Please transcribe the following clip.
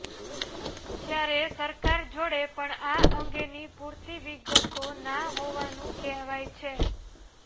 જ્યારે સરકાર જોડે પણ આ અંગેની પૂરતી વિગતો ના હોવાનું કહેવાય છે